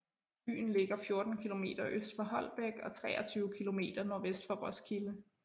Byen ligger 14 kilometer øst for Holbæk og 23 kilometer nordvest for Roskilde